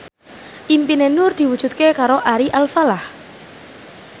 impine Nur diwujudke karo Ari Alfalah